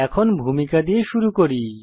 এখন ভূমিকা দিয়ে শুরু করি